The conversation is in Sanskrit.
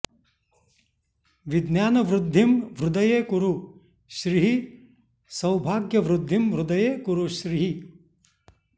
विज्ञानवृद्धिं हृदये कुरु श्रीः सौभाग्यवृद्धिं हृदये कुरु श्रीः